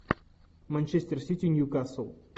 манчестер сити ньюкасл